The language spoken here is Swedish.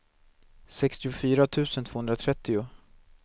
sextiofyra tusen tvåhundratrettio